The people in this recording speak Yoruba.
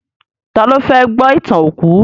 Tá lo fẹ́ gbọ́ ìtàn òkú?